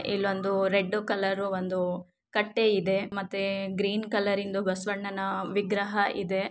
ಇಲ್ಲೊಂದು red colour ಒಂದು ಕಟ್ಟೆ ಇದೆ ಮತ್ತೆ ಗ್ರೀನ್ ಕಲರಿಂದು ಇಂದು ಬಸವಣ್ಣನ ವಿಗ್ರಹ ಇದೆ.